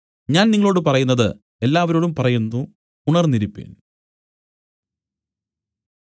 ഞാൻ നിങ്ങളോടു പറയുന്നത് എല്ലാവരോടും പറയുന്നു ഉണർന്നിരിപ്പിൻ